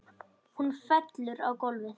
Hún fellur á gólfið.